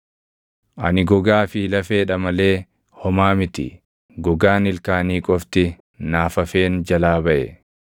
Ani gogaa fi lafeedha malee homaa miti; gogaan ilkaanii qofti naaf hafeen jalaa baʼe.